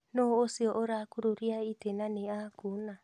Nũũ ũcio ũrakũrũria itĩ na nĩ akuna?